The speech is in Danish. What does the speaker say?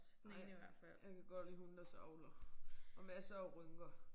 Ej jeg kan godt lide hunde der savler. Og masser af rynker